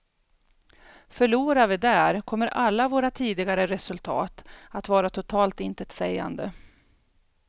Förlorar vi där, kommer alla våra tidigare resultat att vara totalt intetsägande.